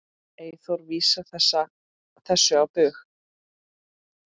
Eyþór vísar þessu á bug.